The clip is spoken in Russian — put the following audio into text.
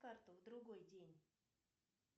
карту в другой день